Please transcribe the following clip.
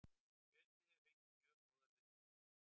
Kjötið hefur fengið mjög góðar viðtökur